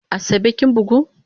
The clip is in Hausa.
Asabe kin bugu?